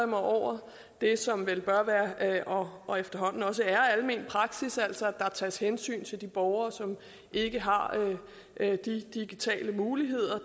mig over det som vel bør være og og efterhånden også er almen praksis altså at der tages hensyn til de borgere som ikke har de digitale muligheder